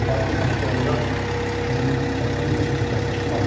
Müharibə başlayanda bizim kəntdən heç bir kəs çıxmadı.